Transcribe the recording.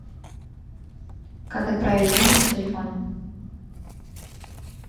как отправить деньги на телефон